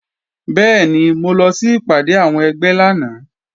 Bẹ́ẹ̀ni, mo lọ sí ìpàdé àwọn ẹgbẹ́ lánàá